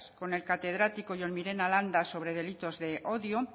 con el catedrático jon mirena landa sobre delitos de odio